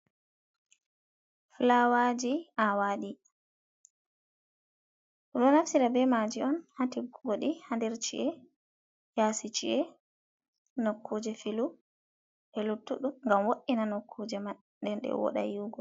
Fulaawaji awaɗi, ɓeɗo naftira be maji on hatiggugodi ha nder chi’e, yasi chie nokkuje filu e luttuɗum ngam wo'ina nokkuje man nden ɗe woɗa yi’ugo.